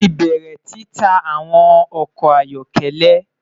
Mo ti bẹrẹ tita awọn ọkọ ayọkẹlẹ